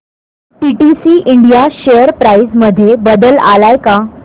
PTC India share price मध्ये बदल आलाय का